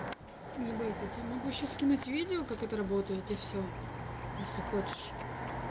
ебать я тебе могу ещё скинуть видео как это работает и всё если хочешь